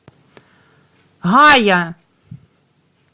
гая